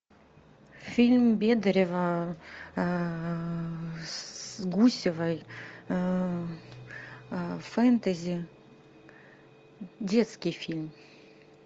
фильм бедарева с гусевой фэнтези детский фильм